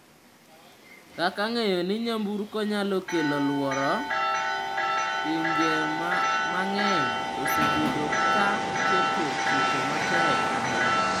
Kaka ng’eyo ni nyamburkogo nyalo kelo luoro, pinje mang’eny osebedo ka keto chike matek ahinya.